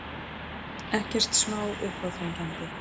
Ekkert smá uppáþrengjandi.